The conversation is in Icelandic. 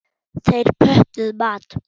Þeir pöntuðu mat.